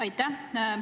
Aitäh!